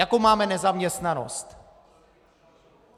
Jakou máme nezaměstnanost?